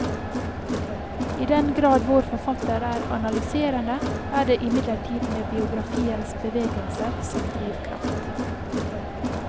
I den grad vår forfatter er analyserende, er det imidlertid med biografiens bevegelser som drivkraft.